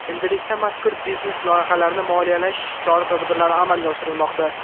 Endilikda mazkur biznes loyihalarni moliyalash chora-tadbirlari amalga oshirilmoqda.